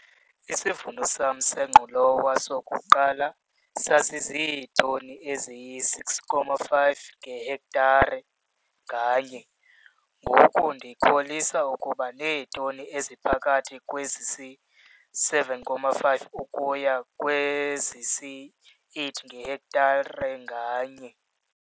Isivuno sam sengqolowa sokuqala sasiziitoni eziyi-6,5 ngehektare nganye. Ngoku ndikholisa ukuba neetoni eziphakathi kwezisi-7,5 ukuya kwezisi-8 ngehektare nganye.